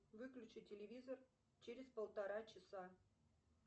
выключи телевизор через полтора часа